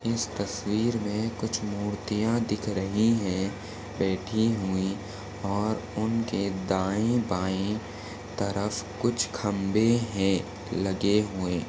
इस तस्वीर मे कुछ मूर्तिया दिख रही है बैठी हुई और उनके दाए-बाए तरफ कुछ खंबे है लगे हुए।